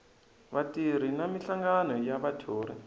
vatirhi na minhlangano ya vathori